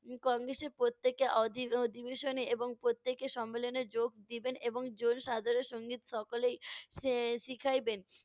কম বেশি প্রত্যেকে অধি~ অধিবেশনে এবং প্রত্যেকে সম্মেলনে যোগ দিবেন এবং সংগীত সকলেই এর শিখাইবেন।